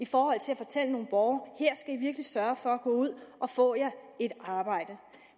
fortælle nogle borgere her i virkelig sørge for at gå ud og få jer et arbejde